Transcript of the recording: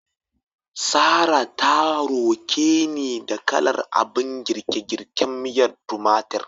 Sarrah ta roke ni da kalar abin girke-girken miyar tumatir.